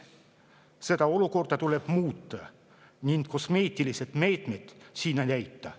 Seda olukorda tuleb muuta ning kosmeetilised meetmed siin ei aita.